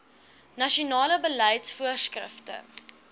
nasionale beleids voorskrifte